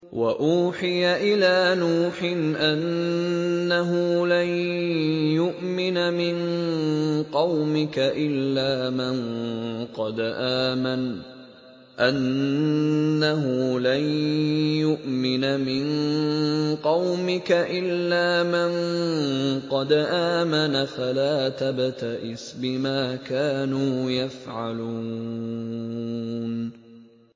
وَأُوحِيَ إِلَىٰ نُوحٍ أَنَّهُ لَن يُؤْمِنَ مِن قَوْمِكَ إِلَّا مَن قَدْ آمَنَ فَلَا تَبْتَئِسْ بِمَا كَانُوا يَفْعَلُونَ